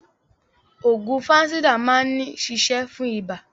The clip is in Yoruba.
Ògùn Fansidar maa ni ṣiṣe fún iba.